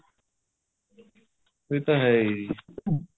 ਏਹ ਤਾਂ ਹੈ ਜੀ